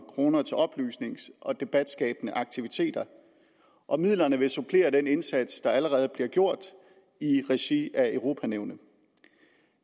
kroner til oplysnings og debatskabende aktiviteter og midlerne vil supplere den indsats der allerede bliver gjort i regi af europanævnet